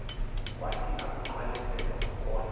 wathi akuyiqwalasela wabona